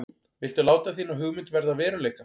Viltu láta þína hugmynd verða að veruleika?